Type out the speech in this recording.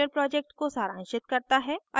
यह spoken tutorial project को सारांशित करता है